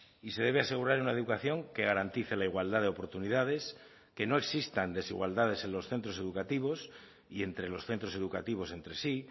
y se debe asegurar una educación que garantice la igualdad de oportunidades que no existan desigualdades en los centros educativos y entre los centros educativos entre sí